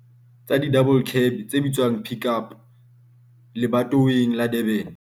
tsa di-double cab tse bitswang Pik Up lebatoweng la Durban.